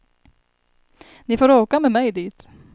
Ni får åka med mig dit.